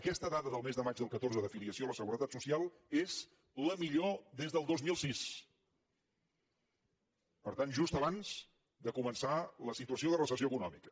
aquesta dada del mes de maig del catorze d’afiliació a la seguretat social és la millor des del dos mil sis per tant just abans de començar la situació de recessió econòmica